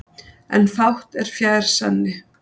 En fátt er fjær sanni.